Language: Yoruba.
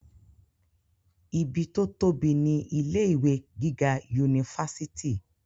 ibi tó tóbi ni ilé ìwé gíga unifásitì